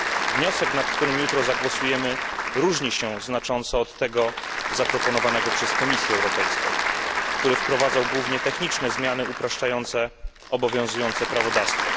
Wniosek, nad którym jutro zagłosujemy, różni się znacząco od tego zaproponowanego przez Komisję Europejską, który wprowadzał głównie techniczne zmiany upraszczające obowiązujące prawodawstwo.